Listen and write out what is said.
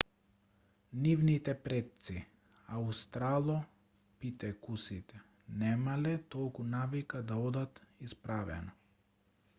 нивните предци аустралопитекусите немале толку навика да одат исправено